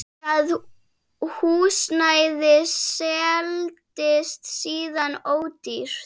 Það húsnæði seldist síðan ódýrt.